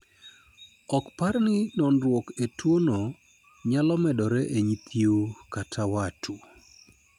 Ok par ni noruok e tuo no nyalo medore e nyithiu kat wat